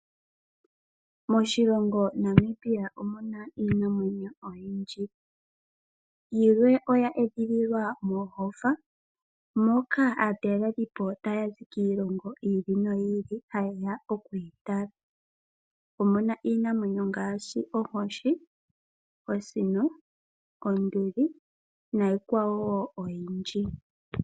Moshilongo Namibia omuna iinamwenyo oyindji, yimwe oya edhililwa moohofa moka aatalelipo hayazi kiilongo yi ili noyi ili tayeya okuyi tala. Omuna iinamwenyo ngaashi onkoshi, osino, onduli nayilwe oyindjji.